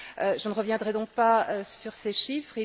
Je ne reviendrai donc pas sur ces chiffres.